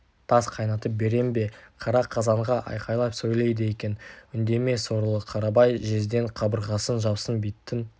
тас қайнатып берем бе қара қазанға айқайлап сөйлейді екен үндеме сорлы қарабай жездең қабырғасын жапсын биттің